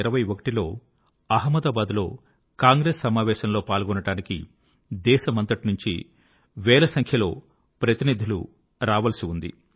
1921 లో అహ్మదాబాద్ లో కాంగ్రెస్ సమావేశం లో పాల్గొనడానికి దేశమంతటి నుంచి వేల సంఖ్యలో ప్రతినిధులు రావలసి ఉంది